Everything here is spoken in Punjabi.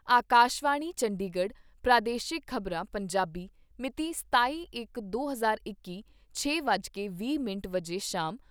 ਆਕਾਸ਼ਵਾਣੀ ਚੰਡੀਗੜ੍ਹ ਪ੍ਰਾਦੇਸ਼ਿਕ ਖ਼ਬਰਾਂ , ਪੰਜਾਬੀ ਮਿਤੀ ਸਤਾਈ ਇਕ ਦੋ ਹਜ਼ਾਰ ਇੱਕੀ, ਛੇ ਵੱਜ ਵੀਹ ਮਿੰਟ ਸ਼ਾਮ